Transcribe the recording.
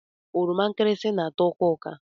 Oroma nkirisi na-atọ ụka ụka.